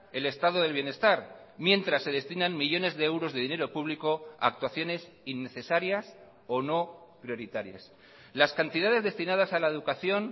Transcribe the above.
el estado del bienestar mientras se destinan millónes de euros de dinero público a actuaciones innecesarias o no prioritarias las cantidades destinadas a la educación